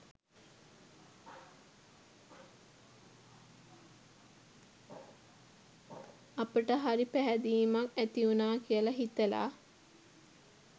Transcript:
අපට හරි පැහැදීමක් ඇතිවුණා කියලා හිතලා